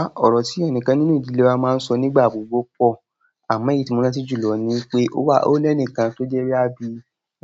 Ah, ọ̀rọ̀ tí ẹnìkan nínú ìdílé wa máa ń sọ nígbà gbogbo pọ̀. Amo èyí ti mo rántí julọ ni pe o le ni kan to je boya bi